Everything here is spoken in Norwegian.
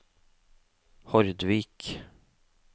Hordvik